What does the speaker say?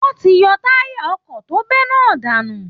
Wọ́n ti yọ táyà ọkọ̀ tó bẹ́ náà dànù